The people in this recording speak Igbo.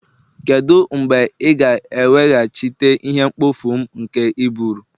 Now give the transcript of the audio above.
Kedu mgbe ị ga-eweghachite ihe mkpofu m nke i buuru?